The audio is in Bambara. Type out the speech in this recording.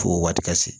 Fo o waati ka se